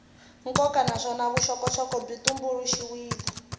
nkoka naswona vuxokoxoko byi tumbuluxiwile